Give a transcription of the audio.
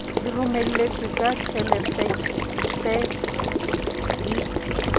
di romeletswe ka thelefekse di